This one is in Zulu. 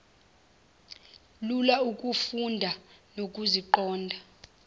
lula ukuzifunda nokuziqonda